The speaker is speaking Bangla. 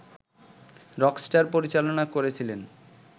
রকস্টার পরিচালনা করেছিলেন